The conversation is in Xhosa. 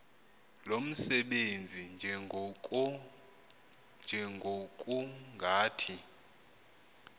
lo msebenzi njengokungathi